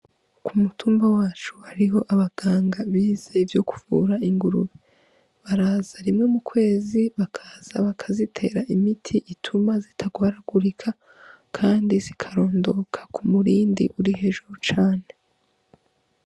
K'umutumba wacu hariho abanganga bize ivyo kuvura ingurube, baraza rimwe mu kwezi, bakaza bazitera imiti ituma zitagwaragurika, Kandi zikarondoka k'umurindi uri hejuru cane.